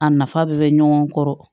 A nafa bɛɛ bɛ ɲɔgɔn kɔrɔ